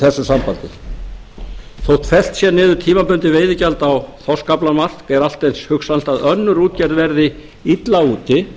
þessu sambandi þótt fellt sé niður tímabundið veiðigjald á þorskaflamark er allt eins hugsanlegt að önnur útgerð verði illa úti